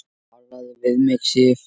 TALAÐU VIÐ MIG, SIF!